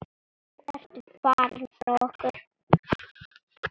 Nú ertu farin frá okkur.